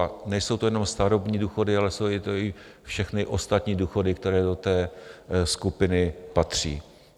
A nejsou to jenom starobní důchody, ale jsou to i všechny ostatní důchody, které do té skupiny patří.